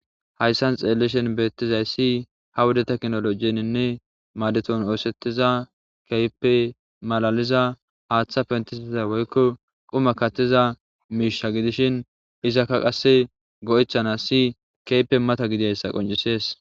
Hayssan xeelleshin beettizay si ha wuda teknologieninne madeton oosettiza keype malaliza haaththa pentistiza woykko quma kattiza miisha gidishin izakka qasse go'echana si keype mata gidayssa qoncisees.